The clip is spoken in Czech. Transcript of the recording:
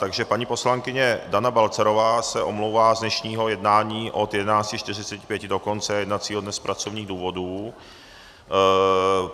Takže paní poslankyně Dana Balcarová se omlouvá z dnešního jednání od 11.45 do konce jednacího dne z pracovních důvodů.